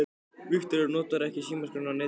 Viktoría: Notarðu ekki símaskrána á netinu?